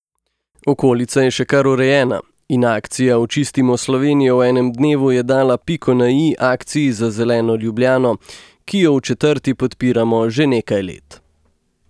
Okolica je še kar urejena in akcija Očistimo Slovenijo v enem dnevu je dala piko na i akciji Za zeleno Ljubljano, ki jo v četrti podpiramo že nekaj let.